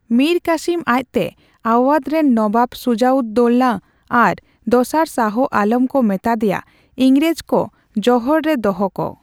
ᱢᱤᱨ ᱠᱟᱥᱤᱢ ᱟᱡ ᱛᱮ ᱟᱣᱭᱟᱫᱷ ᱨᱮᱱ ᱱᱚᱵᱟᱵ ᱥᱩᱡᱟᱼᱩᱫᱼᱫᱳᱞᱞᱟ ᱟᱨ ᱫᱚᱥᱟᱨ ᱥᱟᱦᱚ ᱟᱞᱚᱢ ᱠᱚ ᱢᱮᱛᱟᱫᱮᱭᱟ ᱤᱝᱨᱮᱡᱽᱠᱚ ᱡᱚᱦᱚᱲ ᱨᱮ ᱫᱚᱦᱚ ᱠᱚ ᱾